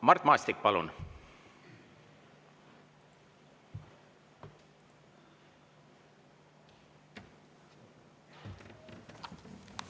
Mart Maastik, palun!